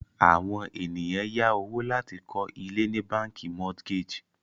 àwọn ènìyàn yá owó láti kọ ile ni bánkì mortgage